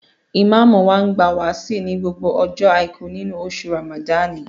Ìmáàmù wa máa ń gba wáàsí ní gbogbo ọjọ́ Àìkú nínú oṣù Ràmàdáànì